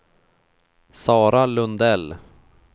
Sara Lundell